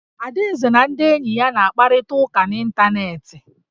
Adaeze na ndị enyi ya na-akparịta ụka n'ịntanetị